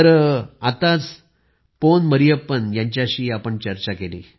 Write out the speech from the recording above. आम्ही आताच पोन मरियप्पन यांच्याशी चर्चा केली